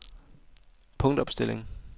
punktopstilling